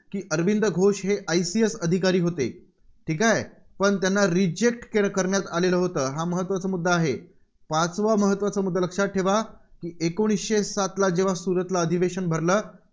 की अरविंद घोष हे ICS अधिकारी होते. ठीक आहे. पण त्यांना reject करण्यात आलेलं होते. पाचवा महत्त्वाचा मुद्दा लक्षात ठेवा. एकोणीसशे सातला जेव्हा सूरतला अधिवेशन भरलं.